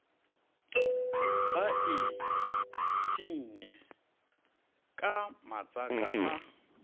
ba iphsinne ka matsaka a